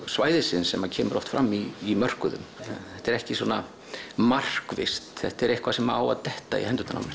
svæðisins sem kemur oft fram í mörkuðum þetta er ekki markvisst þetta er eitthvað sem á að detta í hendurnar á mér